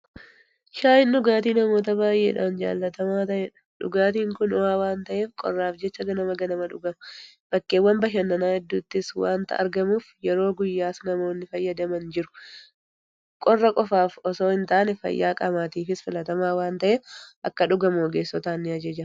Shaayiin dhugaatii namoota baay'eedhaan jaalatamaa ta'edha. Dhugaatiin kun ho'aa waanta'eef qorraaf jecha ganama ganama dhugama. Bakkeewwan bashannana hedduuttis waanta argamuuf yeroo guyyaas namoonni fayyadaman jiru. Qorra qofaaf itoo hintaane fayyaa qaamaatiifis filatamaadha waanta'eef akka dhugamu ogeessotaan nijajjabeeffama.